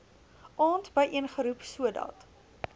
aand byeengeroep sodat